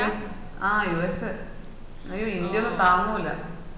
ആഹ് USA India ഒന്നും താങ്ങൂല